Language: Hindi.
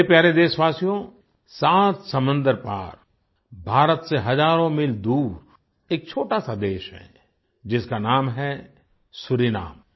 मेरे प्यारे देशवासियो सात समुन्द्र पार भारत से हजारों मील दूर एक छोटा सा देश है जिसका नाम है सूरीनाम